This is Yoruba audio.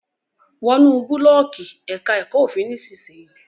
Wọnú Búlọ̀ọ́ọ̀kì èka èko òfin nísìsiyìí!